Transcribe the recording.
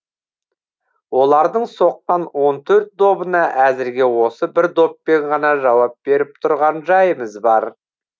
олардың соққан он төрт добына әзірге осы бір доппен ғана жауап беріп тұрған жайымыз бар